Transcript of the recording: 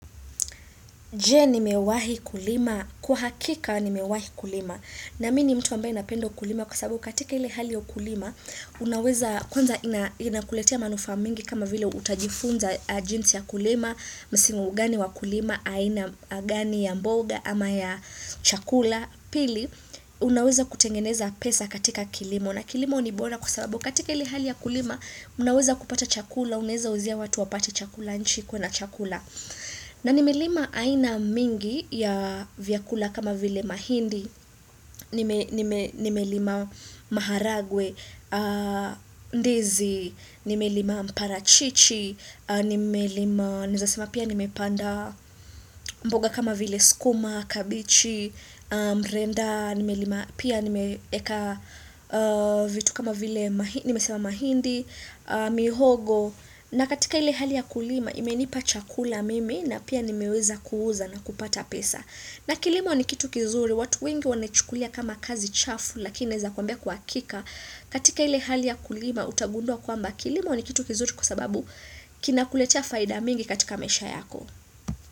Je, ni mewahi kulima? Kwa hakika nimewahi kulima. Na mimi ni mtu ambaye napenda ukulima kwa sababu katika ile hali ya ukulima, unaweza kwanza inakuletea manufaa mingi kama vile utajifunza jinsi ya kulima, msimu gani wa kulima, aina gani ya mboga ama ya chakula. Pili, unaweza kutengeneza pesa katika kilimo, na kilimo ni bora kwa sababu katika ili hali ya kulima unaweza kupata chakula, unaeza uzia watu wapate chakula nchi ikuwe na chakula na nimelima aina mingi ya vyakula kama vile mahindi. Nimelima maharagwe, ndizi, nimelima mparachichi, nimelima, nizasema pia nimepanda mboga kama vile sukuma, kabichi, mrenda, pia nimeeka vitu kama vile nimesema mahindi, mihogo na katika ile hali ya kulima imenipa chakula mimi na pia nimeweza kuuza na kupata pesa na kilimo ni kitu kizuri, watu wengi wanachukulia kama kazi chafu lakini naweza kwambia kwa hakika katika ile hali ya kulima utagundua kwamba kilimo ni kitu kizuri kwa sababu kinakuletea faida mingi katika maisha yako.